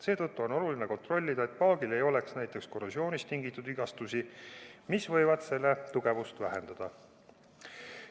Seetõttu on oluline kontrollida, et paagil ei oleks näiteks korrosioonist tingitud vigastusi, mis võivad selle tugevust vähendada.